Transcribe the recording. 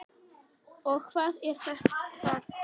Og hvað er það?